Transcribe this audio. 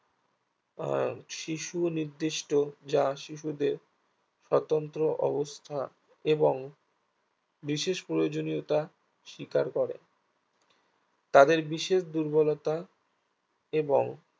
আহ শিশু নির্দিষ্ট যা শিশুদের স্বতন্ত্র অবস্থা এবং বিশেষ প্রয়োজনীয়তা শিকার করে তাদের বিশেষ দুর্বলতা এবং